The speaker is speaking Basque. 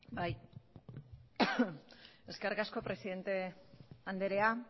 bai eskerrik asko presidente andrea